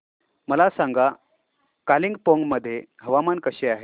मला सांगा कालिंपोंग मध्ये हवामान कसे आहे